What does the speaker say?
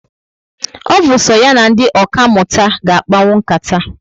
O bu so ya na ndị ọka mụta ga akpanwu nkata